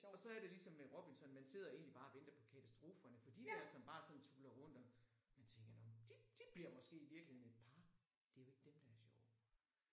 Og så er det ligesom med Robinson man sidder egentlig bare og venter på katastroferne for de der som bare sådan tuller rundt og man tænker nåh men de de bliver måske i virkeligheden et par det jo ikke dem der er sjove